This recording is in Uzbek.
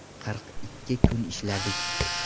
Qirq ikki kun ishladik.